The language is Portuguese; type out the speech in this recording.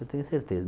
Eu tenho certeza.